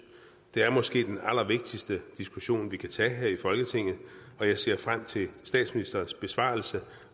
det er måske den allervigtigste diskussion vi kan tage her i folketinget og jeg ser frem til statsministerens besvarelse